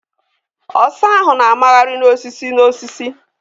Ọsa ahụ na-a magharị n'osisi n'osisi